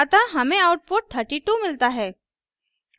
अतः हमें आउटपुट 32 मिलता है